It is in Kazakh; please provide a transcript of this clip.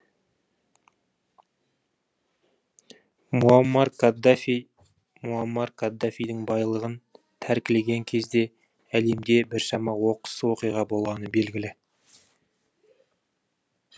муаммар каддафи муаммар каддафидің байлығын тәркілеген кезде әлемде біршама оқыс оқиға болғаны белгілі